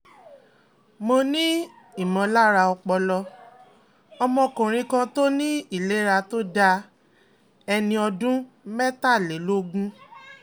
mo ní "imolara opolo" ọ̀mọ́kùnrin kan tó ní ìlera tó dáa ẹni ọdún mẹ́tàlélógún